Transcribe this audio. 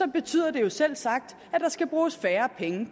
betyder det selvsagt at der skal bruges færre penge